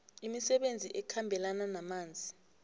imisebenzi ekhambelana namanzi